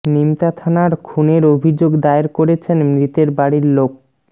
নিমতা থানার খুনের অভিযোগ দায়ের করেছেন মৃতের বাড়ির লোক